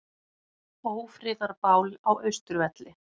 Ófriðarbál á Austurvelli